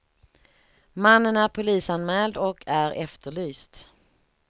Mannen är polisanmäld och är efterlyst.